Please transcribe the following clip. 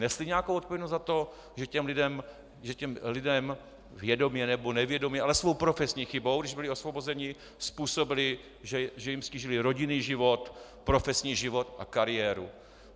Nesli nějakou odpovědnost za to, že těm lidem vědomě nebo nevědomě, ale svou profesní chybou, když byli osvobozeni, způsobili, že jim ztížili rodinný život, profesní život a kariéru?